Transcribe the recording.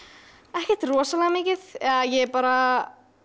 ekkert rosalega mikið eða ég er bara